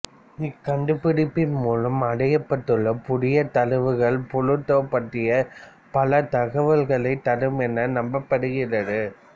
இக்கண்டுபிடிப்பின் மூலம் அடையப்பட்டுள்ள புதிய தரவுகள் புளூட்டோ பற்றிய பல தகவல்களை தரும் என நம்பப்படுகின்றது